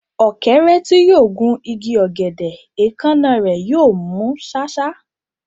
Ọ̀kẹ́rẹ́ tí yóò gun igi ọ̀gẹ̀dẹ̀, èékánná rẹ̀ yóò mú ṣáṣá.